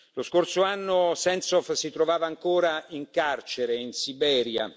Lo scorso anno Sentsov si trovava ancora in carcere in Siberia.